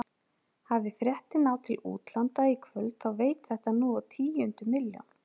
Hafi fréttin náð til útlanda í kvöld þá veit þetta nú á tíundu milljón.